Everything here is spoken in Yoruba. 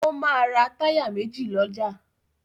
Ó máa ra táyà méjì lọ́jà.